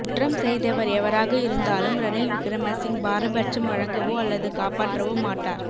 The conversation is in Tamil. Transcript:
குற்றம் செய்தவர் எவராக இருந்தாலும் ரணில் விக்ரமசிங்க பாரபட்சம் வழங்கவோ அல்லது காப்பாற்றவோ மாட்டார் எ